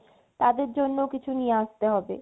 তাদের জন্য কিছু নিয়ে আসতে হবে